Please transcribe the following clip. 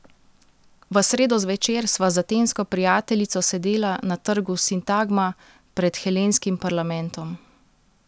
V sredo zvečer sva z atensko prijateljico sedela na trgu Sintagma pred helenskim parlamentom.